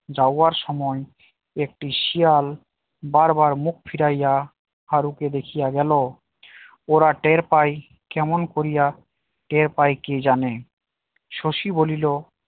যাওয়ার সময় একটি শিয়াল বারবার মুখ ফিরাইয়া হারুকে দেখিয়া গেল ওরা টের পায় কেমন করিয়া টের পায়ে কে জানে শশী বলিল